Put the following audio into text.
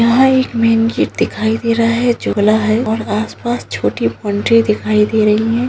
यहाँ एक main gate दिखाई दे रहा है झुला है और आस-पास छोटी बॉउंड्री दिखाई दे रही है।